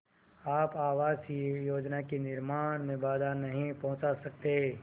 आप आवासीय योजना के निर्माण में बाधा नहीं पहुँचा सकते